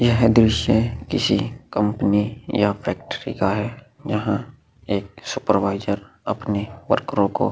यह दृश्य किसी कंपनी या फैक्टरी का है जहाँ एक सुपरवाइजर अपनी वर्करों को --